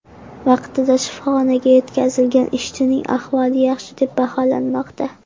Vaqtida shifoxonaga yetkazilgan ishchining ahvoli yaxshi deb baholanmoqda.